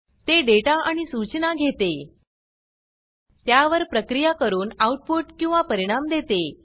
ते डेटा आणि सूचनाघेते त्यावर प्रक्रिया करून आउटपुट किंवा परिणाम देते